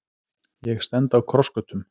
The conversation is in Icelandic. Ég stend á krossgötum.